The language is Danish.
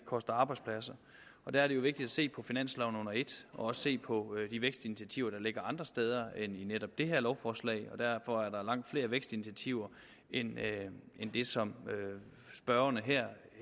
koster arbejdspladser der er det jo vigtigt at se på finansloven under et og også se på de vækstinitiativer der ligger andre steder end i netop det her lovforslag og derfor er der langt flere vækstinitiativer end det som spørgerne her